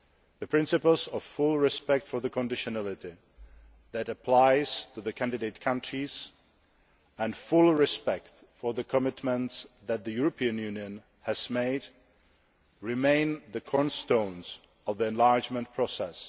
The principles of full respect for the conditionality that applies to the candidate countries, and full respect for the commitments that the European Union has made, remain the cornerstones of the enlargement process.